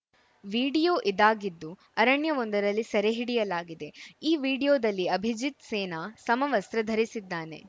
video ಇದಾಗಿದ್ದು ಅರಣ್ಯವೊಂದರಲ್ಲಿ ಸೆರೆ ಹಿಡಿಯಲಾಗಿದೆ ಈ ವಿಡಿಯೋದಲ್ಲಿ ಅಭಿಜಿತ್‌ ಸೇನಾ ಸಮವಸ್ತ್ರ ಧರಿಸಿದ್ದಾನೆ